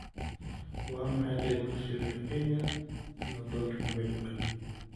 Waa maxay qiimaha Shilinka Kenya iyo Doolarka Maraykanka?